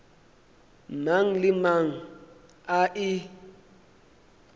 mang le mang a e